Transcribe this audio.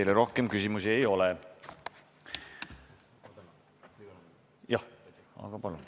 Teile rohkem küsimusi ei ole.